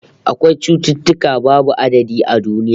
Akwai cututtuka babu adadi a duniya